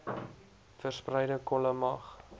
verspreide kolle mag